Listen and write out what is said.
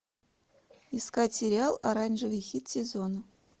искать сериал оранжевый хит сезона